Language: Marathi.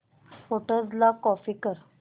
फोटोझ ला कॉपी कर